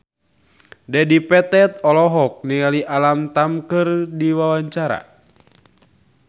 Dedi Petet olohok ningali Alam Tam keur diwawancara